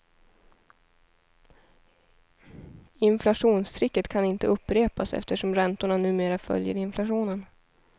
Inflationstricket kan inte upprepas, eftersom räntorna numera följer inflationen.